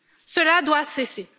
Cela doit cesser!